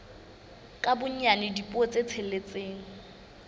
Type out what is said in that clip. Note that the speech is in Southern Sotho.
ka bonyane dipuo tse tsheletseng